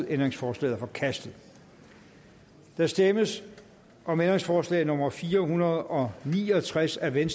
ændringsforslaget er forkastet der stemmes om ændringsforslag nummer fire hundrede og ni og tres af v